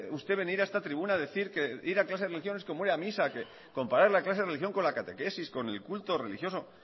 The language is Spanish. usted venir a esta tribuna a decir que ir a clase de religión es como ir a misa que comparar la clase de religión con la catequesis con el culto religioso